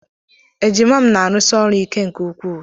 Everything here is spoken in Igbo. Ejima m na-arụsi ọrụ ike nke ukwuu